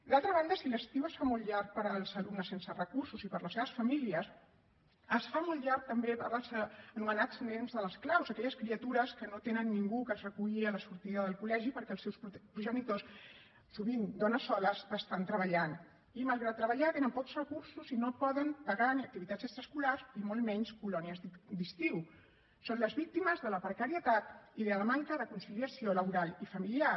d’altra banda si l’estiu es fa molt llarg per als alumnes sense recursos i per a les seves famílies es fa molt llarg també per als anomenats nens de les claus aquelles criatures que no tenen ningú que els reculli a la sortida del col·legi perquè els seus progenitors sovint dones soles estan treballant i malgrat treballar tenen pocs recursos i no poden pagar ni activitats extraescolars ni encara menys colònies d’estiu són les víctimes de la precarietat i de la manca de conciliació laboral i familiar